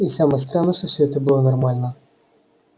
и самое странное что все это было нормально